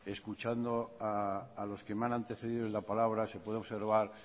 escuchando a los que me han antecedido en la palabra se puede observar